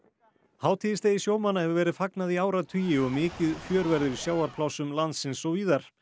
hátíðisdegi sjómanna hefur verið fagnað í áratugi og mikið fjör verður í sjávarplássum landsins og víðar